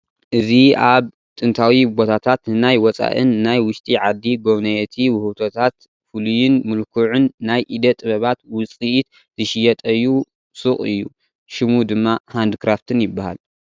እዚ ኣብ ጥንታዊ ቦታታት ንናይ ወፃኢን ናይ ውሽጢ ዓዲ ጎብነየቲ ውህብቶታት ፍሉይን ምልኩዑን ናይ ኢደ ጥበባት ውፅኢት ዝሽየጠዩ ሱቕ እዩ፡፡ ሽሙ ድማ ሃንድ ክራፍትን ይባሃል፡፡